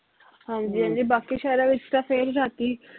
ਹਾਂਜੀ ਹਾਂਜੀ ਬਾਕੀ ਸ਼ਹਿਰਾਂ ਵਿਚ ਤਾਂ ਫਿਰ ਵੀ ਰਾਤੀ